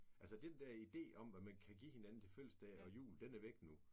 Altså den der idé om hvad man kan give hinanden til fødselsdag og jul den er væk nu